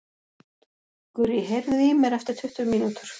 Gurrý, heyrðu í mér eftir tuttugu mínútur.